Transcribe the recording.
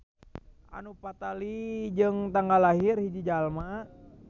Anu patali jeung tanggal lahir hiji jalma.